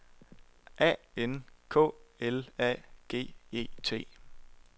A N K L A G E T